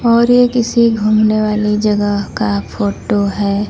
और ये किसी घूमने वाली जगह का फोटो है।